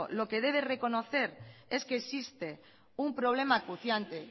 lo que debe de reconocer es que existe un problema acuciante